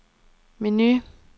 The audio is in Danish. menu